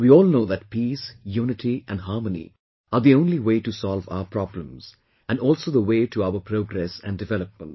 We all know that peace, unity and harmony are the only way to solve our problems and also the way to our progress and development